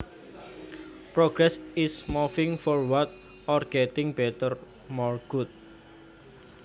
Progress is moving forward or getting better more good